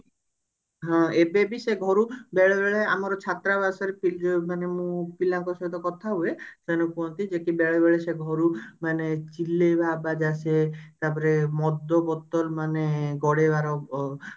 ହଁ ଏବେବି ସେ ଘରୁ ବେଳେ ବେଳେ ଆମର ଛତ୍ରାବାସରେ ପି ମାନେ ମୁଁ ପିଲାଙ୍କ ସହିତ କଥା ହୁଏ ସେମାନେ କୁହନ୍ତି ଯେ କି ବେଳେବେଳେ ସେ ଘରୁ ମାନେ ଚିଲେଇବା ଆବାଜ ଆସେ ତାପରେ ମଦ ବୋତଲ ମାନେ ଗଡେଇବାର ଅ